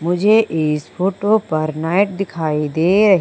मुझे इस फोटो पर नाइट दिखाई दे रह--